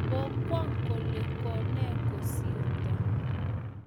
Ko kwang kole ko ne kosirto